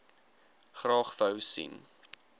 graag wou sien